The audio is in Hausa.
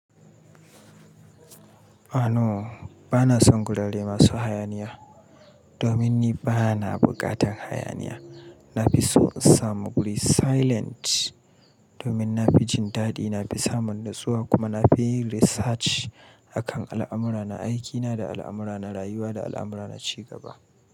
A'a, no ba na son gurare masu hayaniya domin ni ba na buƙatar hayaniya. Na fi so in samu guri silent domin na fi jin dadi, na fi samun natsuwa kuma na fi yin research akan al'amura na aikina da al'amura na rayuwa da al'amura na ci gaba.